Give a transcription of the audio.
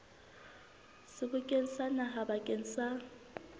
sebokeng sa naha bakeng sa